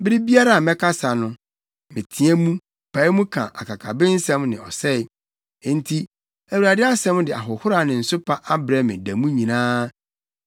Bere biara a mɛkasa no, meteɛ mu, pae mu ka akakabensɛm ne ɔsɛe. Enti Awurade asɛm de ahohora ne nsopa abrɛ me da mu nyinaa.